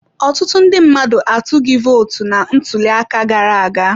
Ọtụtụ ndị mmadụ atughi votu na ntuli aka gara aga.